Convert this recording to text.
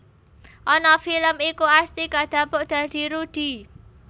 Ana film iku Asti kadapuk dadi Rudy